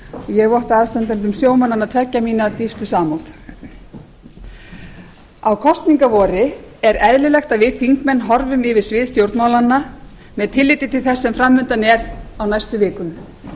ég votta aðstandendum sjómannanna tveggja mína dýpstu samúð á kosningavori er eðlilegt að við þingmenn horfum yfir svið stjórnmálanna með tilliti til þess sem framundan er á næstu vikum